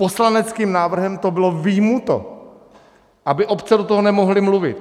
Poslaneckým návrhem to bylo vyjmuto, aby obce do toho nemohly mluvit.